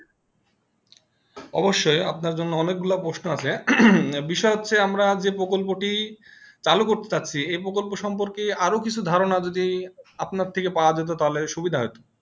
অবশই আপনা জন্য অনেকগুলো প্রশ্ন আছে বিষয় হচ্ছে যে আমরা প্রকল্পটি চালু করতে যাচ্ছি এই প্রকল্প সম্পর্কে আরও কিছু ধারণা যদি আপনা থেকে পাওয়া যেত তালে সুবিধা হতো